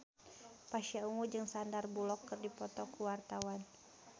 Pasha Ungu jeung Sandar Bullock keur dipoto ku wartawan